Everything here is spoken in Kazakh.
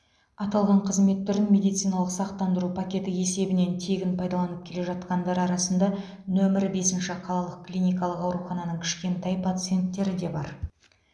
аталған қызмет түрін медициналық сақтандыру пакеті есебінен тегін пайдаланып келе жатқандар арасында нөмірі бесінші қалалық клиникалық аурухананың кішкентай пациенттері де бар